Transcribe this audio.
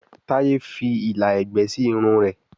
Taye fí ìlà ẹgbẹ sí Irun rẹ